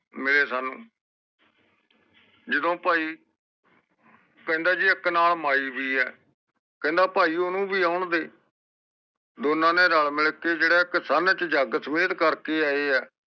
ਮਿਲੇ ਸਾਨੂ ਜਦੋ ਭਾਈ ਕਹਿੰਦੇ ਜੇ ਇਕ ਨਾਲ ਮਯੀ ਵੀ ਆ, ਕਹਿੰਦਾ ਭਾਈ ਓਹਨੂੰ ਵੀ ਆਉਣ ਦੇ ਦੋਨਾਂ ਨੇ ਰਲ ਮਿਲ ਕੇ ਜਿਹੜੇ ਇਕ ਸਨ ਜਗਤ ਕਰਕੇ ਆਏ ਆ